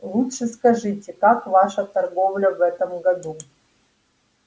лучше скажите как ваша торговля в этом году